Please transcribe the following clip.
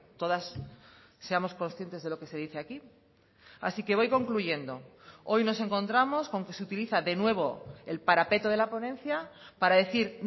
todas seamos conscientes de lo que se dice aquí así que voy concluyendo hoy nos encontramos con que se utiliza de nuevo el parapeto de la ponencia para decir